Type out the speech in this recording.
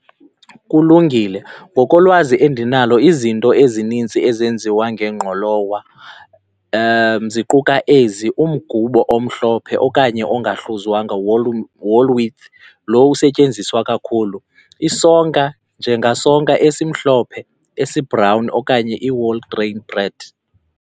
Kulungile, ngokolwazi endinalo izinto ezinintsi ezenziwa ngengqolowa ziquka ezi, umgubo omhlophe okanye ongahluzwanga, whole wheat, lowo usetyenziswa kakhulu. Isonka njengasonka esimhlophe, esibhrawuni okanye i-whole bran bread.